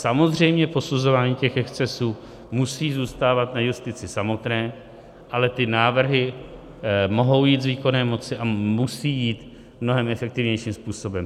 Samozřejmě posuzování těch excesů musí zůstávat na justici samotné, ale ty návrhy mohou jít z výkonné moci a musí jít mnohem efektivnějším způsobem.